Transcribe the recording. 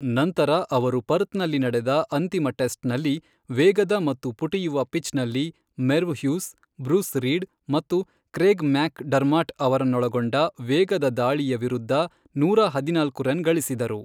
ನಂತರ ಅವರು ಪರ್ತ್ನಲ್ಲಿ ನಡೆದ ಅಂತಿಮ ಟೆಸ್ಟ್ ನಲ್ಲಿ, ವೇಗದ ಮತ್ತು ಪುಟಿಯುವ ಪಿಚ್ ನಲ್ಲಿ ,ಮೆರ್ವ್ ಹ್ಯೂಸ್, ಬ್ರೂಸ್ ರೀಡ್ ಮತ್ತು ಕ್ರೇಗ್ ಮ್ಯಾಕ್ ಡರ್ಮಾಟ್ ಅವರನ್ನೊಳಗೊಂಡ ವೇಗದ ದಾಳಿಯ ವಿರುದ್ಧ ನೂರ ಹದಿನಾಲ್ಕು ರನ್ ಗಳಿಸಿದರು.